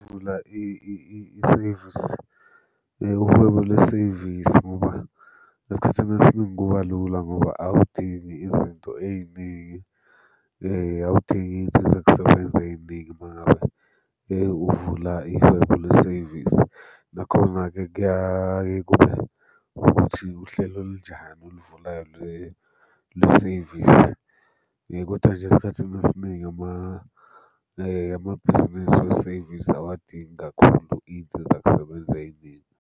Ukuvula isevisi, uhwebo lesevisi ngoba esikhathini esiningi kuba lula ngoba awudingi izinto ey'ningi, awudingi iy'nsiza kusebenza ey'ningi uma ngabe uvula ihwebo lesevisi. Nakhona-ke kuyaye kube ukuthi uhlelo olunjani oluvulayo lesevisi, kodwa nje esikhathini esiningi amabhizinisi wesevisi awadingi kakhulu iy'nsizakusebenza ey'ningi.